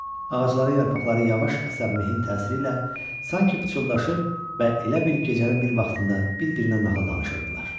Ağacların yarpaqları yavaş əsən mehin təsiri ilə sanki pıçıldaşır və elə bil gecənin bir vaxtında bir-birinə nəhər danışırdılar.